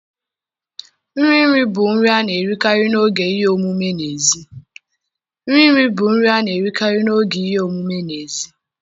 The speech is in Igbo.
Nri nri bụ nri a na-erikarị n'oge ihe omume n'èzí